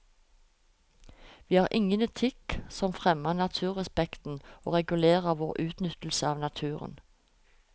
Vi har ingen etikk som fremmer naturrespekten og regulerer vår utnyttelse av naturen.